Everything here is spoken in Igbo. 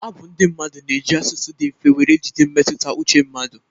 Abu ndị mmadụ na-eji asụsụ dị mfe were jide mmetụta uche mmadụ.